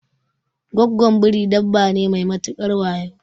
Gwaggon Biri dabba ne mai matukar wayo